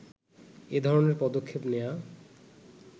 এধরনের পদক্ষেপ নেয়া